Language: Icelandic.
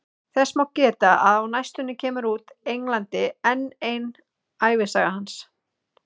Þess má geta að á næstunni kemur út í Englandi enn ein ævisaga hans.